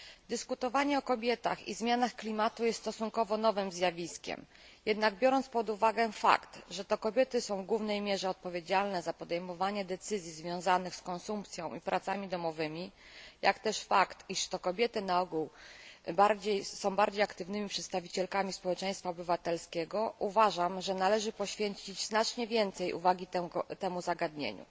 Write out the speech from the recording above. Dyskutowanie o kobietach i zmianach klimatu jest stosunkowo nowym zjawiskiem, jednak biorąc pod uwagę fakt, że to kobiety są w głównej mierze odpowiedzialne za podejmowanie decyzji związanych z konsumpcją i pracami domowymi, jak też fakt, że to kobiety na ogół są bardziej aktywnymi przedstawicielkami społeczeństwa obywatelskiego, uważam, że należy poświęcić znacznie więcej uwagi temu zagadnieniu.